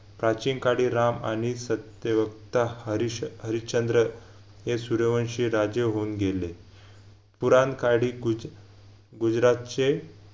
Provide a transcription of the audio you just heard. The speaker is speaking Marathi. प्राचीनकाडी राम आणि सत्यवक्ता हरीश हरिश्चंद्र हे सूर्यवंशी राजे होऊन गेले पुराणकाडी गुज गुजरातचे